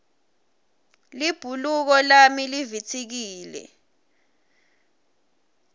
libhuluko lami livitsikile